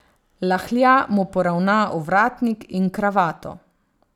Lahja mu poravna ovratnik in kravato.